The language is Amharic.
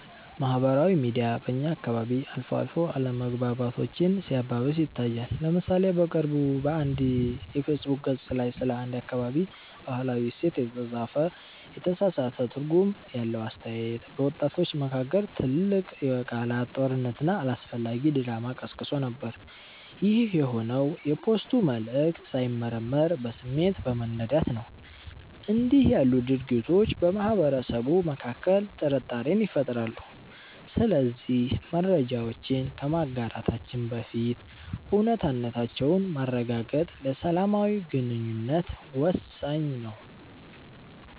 ማህበራዊ ሚዲያ በእኛ አካባቢ አልፎ አልፎ አለመግባባቶችን ሲያባብስ ይታያል። ለምሳሌ በቅርቡ በአንድ የፌስቡክ ገፅ ላይ ስለ አንድ አካባቢ "ባህላዊ እሴት" የተጻፈ የተሳሳተ ትርጉም ያለው አስተያየት፣ በወጣቶች መካከል ትልቅ የቃላት ጦርነትና አላስፈላጊ ድራማ ቀስቅሶ ነበር። ይህ የሆነው የፖስቱ መልዕክት ሳይመረመር በስሜት በመነዳት ነው። እንዲህ ያሉ ድርጊቶች በማህበረሰቡ መካከል ጥርጣሬን ይፈጥራሉ። ስለዚህ መረጃዎችን ከማጋራታችን በፊት እውነታነታቸውን ማረጋገጥ ለሰላማዊ ግንኙነት ወሳኝ ነው።